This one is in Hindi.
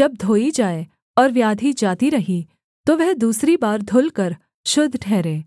जब धोई जाए और व्याधि जाती रही तो वह दूसरी बार धुलकर शुद्ध ठहरे